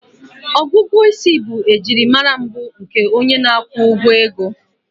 Ọgụgụ isi bụ ejiri mara mbụ nke onye na-akwụ ụgwọ ego